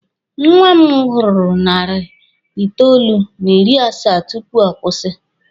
Nwa m gururu narị itoolu n'ịrị asaa tupu ọ kwụsị.